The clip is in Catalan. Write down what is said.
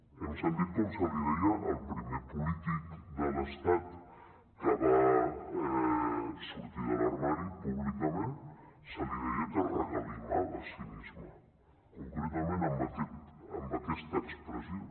hem sentit com se li deia al primer polític de l’estat que va sortir de l’armari públicament se li deia que regalimava cinisme concretament amb aquesta expressió